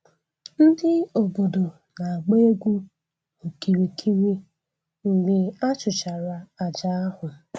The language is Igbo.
Ndị obodo na-agba egwu n'okirikiri mgbe a chụchara aja ahụ